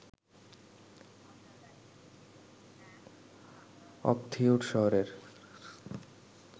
অকথিয়ুর শহরের